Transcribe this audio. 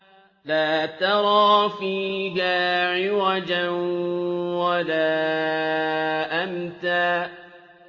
لَّا تَرَىٰ فِيهَا عِوَجًا وَلَا أَمْتًا